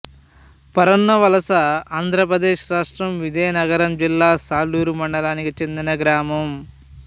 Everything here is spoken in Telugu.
పరన్నవలసఆంధ్ర ప్రదేశ్ రాష్ట్రం విజయనగరం జిల్లా సాలూరు మండలానికి చెందిన గ్రామం